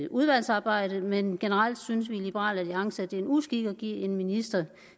udvalgsarbejde men generelt synes vi i liberal alliance at det er en uskik at give en minister